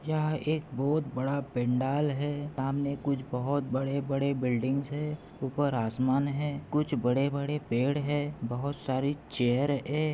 यहा एक बहुत बड़ा पेंडाल है सामने कुछ बहुत बड़े-बड़े बिल्डिंगस है ऊपर आसमान है कुछ बड़े-बड़े पेड़ है बहुत सारी चेयर है।